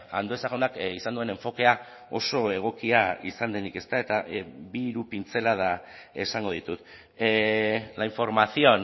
andueza jaunak izan duen enfokea oso egokia izan denik ezta eta bi hiru pintzelada esango ditut la información